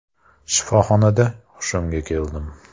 Shifoxonada hushimga keldim.